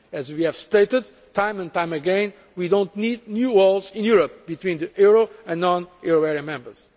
As we have stated time and time again, we do not need new walls in Europe between the euro area and non euro area members.